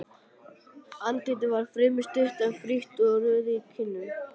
Andlitið var fremur stutt, en frítt og roði í kinnum.